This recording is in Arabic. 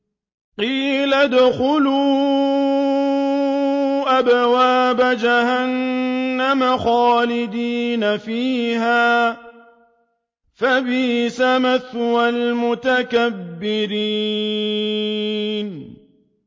قِيلَ ادْخُلُوا أَبْوَابَ جَهَنَّمَ خَالِدِينَ فِيهَا ۖ فَبِئْسَ مَثْوَى الْمُتَكَبِّرِينَ